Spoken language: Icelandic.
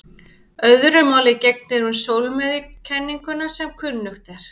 Öðru máli gegnir um sólmiðjukenninguna sem kunnugt er.